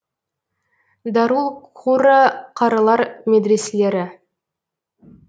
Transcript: дарул қурра қарылар медреселері